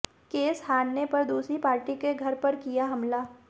case हारने पर दूसरी पार्टी के घर पर किया हमला